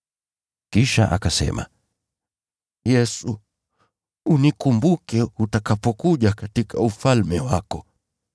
Kisha akasema, “Yesu, unikumbuke utakapokuja katika Ufalme wako.”